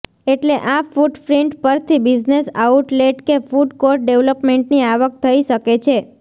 એટલે આ ફૂટપ્રિન્ટ પરથી બિઝનેસ આઉટલેટ કે ફૂડ કોર્ટ ડેવલપમેન્ટની આવક થઈ શકે છે